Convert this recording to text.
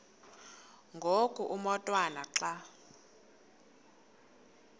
ngoku umotwana xa